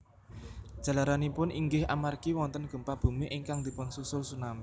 Jalaranipun inggih amargi wonten gempa bumi ingkang dipunsusul tsunami